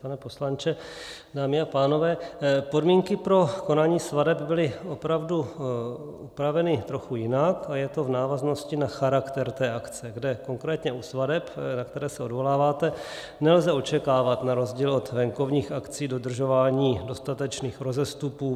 Pane poslanče, dámy a pánové, podmínky pro konání svateb byly opravdu upraveny trochu jinak a je to v návaznosti na charakter té akce, kde konkrétně u svateb, na které se odvoláváte, nelze očekávat na rozdíl od venkovních akcí dodržování dostatečných rozestupů.